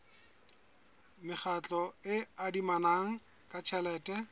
mekgatlo e adimanang ka tjhelete